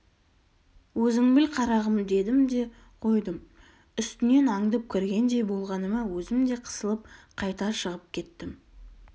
өзің біл қарағым дедім де қойдым үстінен аңдып кіргендей болғаныма өзім де қысылып қайта шығып кеттім